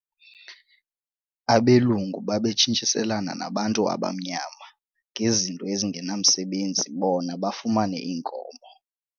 Abelungu babetshintshiselana nabantu abamnyama ngezinto ezingenamsebenzi bona bafumane iinkomo.